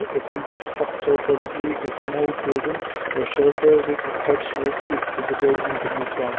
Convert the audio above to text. a simple structure possibly a small building are shelter with that roof is visible in the background.